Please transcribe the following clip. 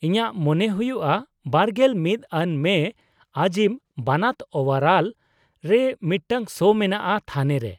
-ᱤᱧᱟᱹᱜ ᱢᱚᱱᱮ ᱦᱩᱭᱩᱜᱼᱟ ᱒᱑ ᱟᱱ ᱢᱮ ᱟᱡᱤᱢ ᱵᱟᱱᱟᱛ ᱳᱣᱟᱞᱟᱨ ᱨᱮ ᱢᱤᱫᱴᱟᱝ ᱥᱳ ᱢᱮᱱᱟᱜᱼᱟ ᱛᱷᱟᱱᱮ ᱨᱮ ᱾